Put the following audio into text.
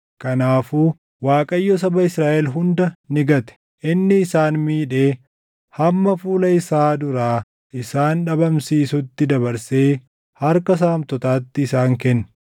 kanaafuu Waaqayyo saba Israaʼel hunda ni gate; inni isaan miidhee hamma fuula isaa duraa isaan dhabamsiisutti dabarsee harka saamtotaatti isaan kenne.